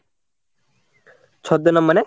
ছদ্মনাম মানে